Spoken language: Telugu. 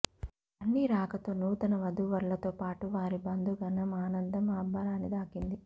బన్నీ రాకతో నూతన వధూవరులతో పాటు వారి బంధుగణం ఆనందం అంబరాన్ని తాకింది